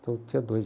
Então tinha dois.